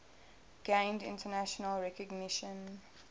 gained international recognition